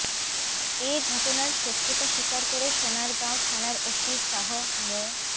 এ ঘটনার সত্যতা স্বীকার করে সোনারগাঁও থানার ওসি শাহ মো